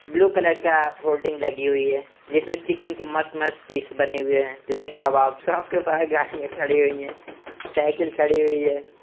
Blue colour का hoarding लगी हुई है जिसमें चिकन के मस्त मस्त पीस बने हुए हैं लेग कबाब सबके पास गाड़ियां खड़ी हुई है सइकिल खड़ी हुई है।